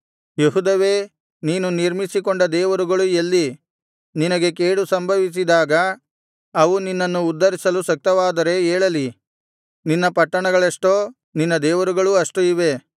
ಯೆಹೂದವೇ ನೀನು ನಿರ್ಮಿಸಿಕೊಂಡ ದೇವರುಗಳು ಎಲ್ಲಿ ನಿನಗೆ ಕೇಡು ಸಂಭವಿಸಿದಾಗ ಅವು ನಿನ್ನನ್ನು ಉದ್ಧರಿಸಲು ಶಕ್ತವಾದರೆ ಏಳಲಿ ನಿನ್ನ ಪಟ್ಟಣಗಳೆಷ್ಟೋ ನಿನ್ನ ದೇವರುಗಳೂ ಅಷ್ಟು ಇವೆ